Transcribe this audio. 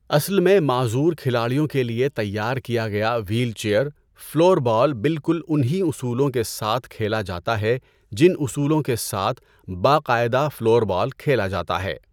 اصل میں معذور کھلاڑیوں کے لیے تیار کیا گیا وہیل چیئر فلور بال بالکل ان ہی اصولوں کے ساتھ کھیلا جاتا ہے جن اصولوں کے ساتھ 'باقاعدہ' فلور بال کھیلا جاتا ہے۔